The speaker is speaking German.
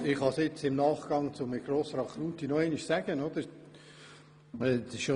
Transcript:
Ich kann es im Nachgang zu Herrn Grossrat Knutti nochmals erwähnen: